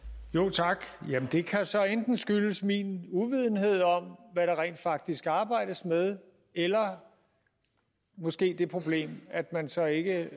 tak jamen det kan så enten skyldes min uvidenhed om hvad der rent faktisk arbejdes med eller måske er problemet at man så ikke